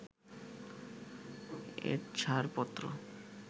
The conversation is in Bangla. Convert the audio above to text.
এর ছাড়পত্র